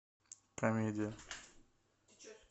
комедия